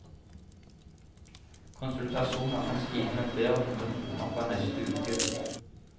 Konsultasjoner kan stige med flere hundre kroner fra neste uke.